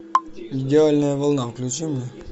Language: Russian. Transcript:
идеальная волна включи мне